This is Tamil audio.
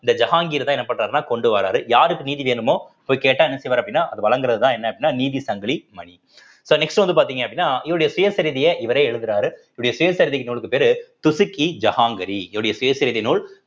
இந்த ஜஹாங்கீர் தான் என்ன பண்றாருன்னா கொண்டு வர்றாரு யாருக்கு நீதி வேணுமோ போய் கேட்டா என்ன செய்வாரு அப்படின்னா அத வழங்குறதுதான் என்ன அப்படின்னா நீதி சங்கிலி மணி so next வந்து பார்த்தீங்க அப்படின்னா இவருடைய சுயசரிதியை இவரே எழுதுறாரு இவருடைய சுயசரிதை நூல்க்கு பேரு ஜஹாங்கரி இவருடைய சுயசரிதை நூல்